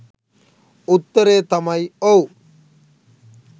උත්තරය තමයි ඔව්